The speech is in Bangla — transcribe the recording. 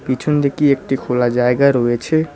পিছনদিকে একটি খোলা জায়গা রয়েছে।